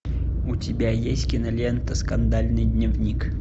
у тебя есть кинолента скандальный дневник